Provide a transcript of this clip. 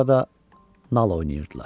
Orada nal oynayırdılar.